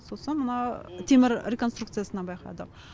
сосын мына темір реконструкциясынан байқадық